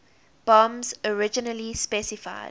bombs originally specified